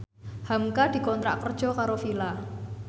hamka dikontrak kerja karo Fila